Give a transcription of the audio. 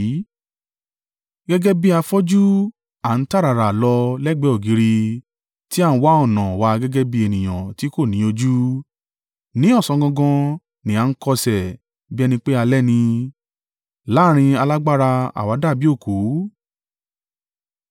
Gẹ́gẹ́ bí afọ́jú à ń táràrà lọ lẹ́gbẹ̀ẹ́ ògiri tí a ń wá ọ̀nà wa gẹ́gẹ́ bí ènìyàn tí kò ní ojú. Ní ọ̀sán gangan ni à ń kọsẹ̀ bí ẹni pé alẹ́ ni; láàrín alágbára àwa dàbí òkú.